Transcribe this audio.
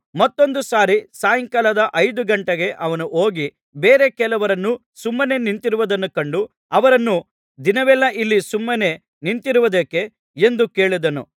ಮತ್ತೊಂದು ಸಾರಿ ಸಾಯಂಕಾಲ ಐದು ಗಂಟೆಗೆ ಅವನು ಹೋಗಿ ಬೇರೆ ಕೆಲವರು ಸುಮ್ಮನೇ ನಿಂತಿರುವುದನ್ನು ಕಂಡು ಅವರನ್ನು ದಿನವೆಲ್ಲಾ ಇಲ್ಲಿ ಸುಮ್ಮನೇ ನಿಂತಿರುವುದೇಕೆ ಎಂದು ಕೇಳಿದನು